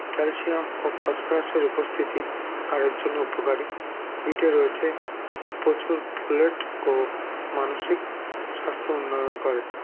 calcium ও phosphorus -এর উপস্থিতি হাড়ের জন্য উপকারী বীটে রয়েছে প্রচুর folate ও মানসিক স্বাস্থ্য উন্নয়ন করে